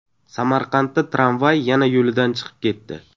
Samarqandda tramvay yana yo‘lidan chiqib ketdi .